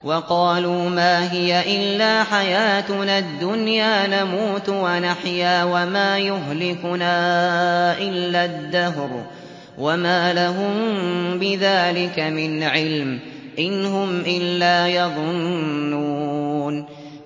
وَقَالُوا مَا هِيَ إِلَّا حَيَاتُنَا الدُّنْيَا نَمُوتُ وَنَحْيَا وَمَا يُهْلِكُنَا إِلَّا الدَّهْرُ ۚ وَمَا لَهُم بِذَٰلِكَ مِنْ عِلْمٍ ۖ إِنْ هُمْ إِلَّا يَظُنُّونَ